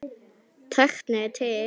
Tæknin er til.